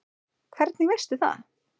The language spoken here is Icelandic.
Hvernig veistu það?